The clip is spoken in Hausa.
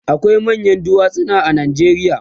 akwai manyan duwatsu a Najeriya